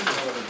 Gəldik.